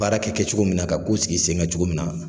Baara kɛ cogo min na ka ko sigi sen kan cogo min na.